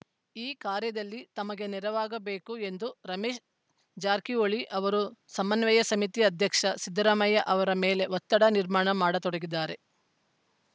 ಈ ಕಾರ್ಯದಲ್ಲಿ ತಮಗೆ ನೆರವಾಗಬೇಕು ಎಂದು ರಮೇಶ್‌ ಜಾರಕಿಹೊಳಿ ಅವರು ಸಮನ್ವಯ ಸಮಿತಿ ಅಧ್ಯಕ್ಷ ಸಿದ್ದರಾಮಯ್ಯ ಅವರ ಮೇಲೆ ಒತ್ತಡ ನಿರ್ಮಾಣ ಮಾಡತೊಡಗಿದ್ದಾರೆ